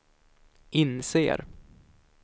inser